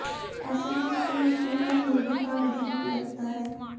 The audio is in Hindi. ऐसे में स्कूल स्कूल कम मुर्गीफार्म अधिक लगता है